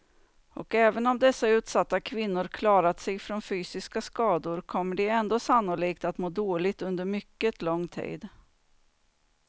Och även om dessa utsatta kvinnor klarat sig från fysiska skador kommer de ändå sannolikt att må dåligt under mycket lång tid.